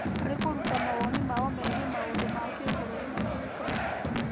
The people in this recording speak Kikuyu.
Harĩ kũruta mawoni mao megiĩ maũndũ ma kĩbũrũri na kĩũteti